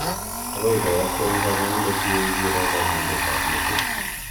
agoy koyagten kanyaindet iwe ibiro kanyaindet ab metit